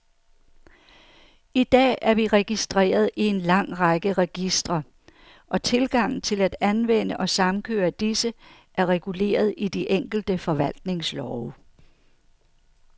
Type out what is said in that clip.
I dag er vi registreret i en lang række registre, og tilgangen til at anvende og samkøre disse, er reguleret i de enkelte forvaltningslove.